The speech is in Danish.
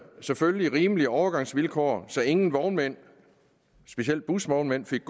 selvfølgelig nogle rimelige overgangsvilkår så ingen vognmænd specielt busvognmændene fik